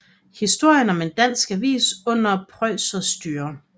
Historien om en dansk avis under prøjserstyre